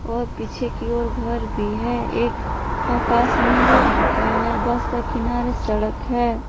और पीछे की ओर घर भी है एक आकाश नीले रंग का है बस का किनारे सड़क है।